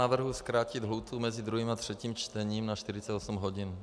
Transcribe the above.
Navrhuji zkrátit lhůtu mezi druhým a třetím čtením na 48 hodin.